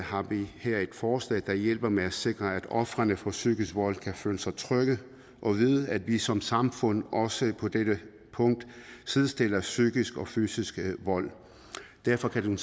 har vi her et forslag der hjælper med at sikre at ofrene for psykisk vold kan føle sig trygge og vide at vi som samfund også på dette punkt sidestiller psykisk og fysisk vold derfor kan